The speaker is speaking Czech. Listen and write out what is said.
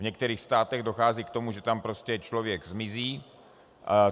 V některých státech dochází k tomu, že tam prostě člověk zmizí.